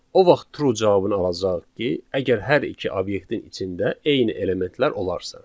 O vaxt true cavabını alacağıq ki, əgər hər iki obyektin içində eyni elementlər olarsa.